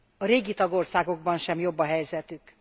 A régi tagországokban sem jobb a helyzetük.